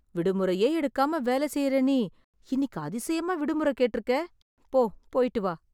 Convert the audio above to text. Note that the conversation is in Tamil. விடுமுறையே எடுக்காம வேல செய்ற நீ, இன்னிக்கு அதிசயமா விடுமுறை கேட்டுருக்கே... போ போய்ட்டு வா.